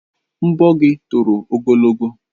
Nbọ gị toro ogologo.